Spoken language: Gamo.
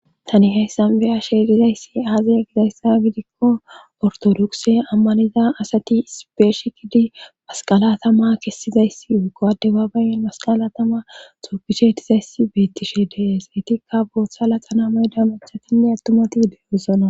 Tani heyssan beyashe dizayssi aazaya gidayssa gidikko ortodokse ammaniza asati isipeeshi kidi masqala tama kessizayssi wuqowade baabayen masqala tama xuupishe tizayssi beettishe dees etikka bootha laqana mayda mukshatanne attumati beeusona.